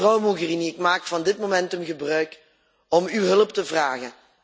Mevrouw Mogherini, ik maak van dit momentum gebruik om uw hulp te vragen.